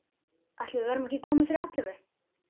Ætli við verðum ekki komin fyrir ellefu.